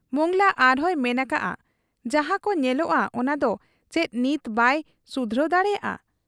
ᱢᱚᱸᱜᱽᱞᱟ ᱟᱨᱦᱚᱸᱭ ᱢᱮᱱ ᱟᱠᱟᱜ ᱟ ᱡᱟᱦᱟᱸᱠᱚ ᱧᱮᱞᱮᱜ ᱟ ᱚᱱᱟᱫᱚ ᱪᱮᱫ ᱱᱤᱛ ᱵᱟᱭ ᱥᱩᱫᱷᱨᱟᱹᱣ ᱫᱟᱲᱮᱭᱟᱜ ᱟ ?